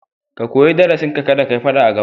Ka koyi darasinka, kada ka yi faɗa a gaba.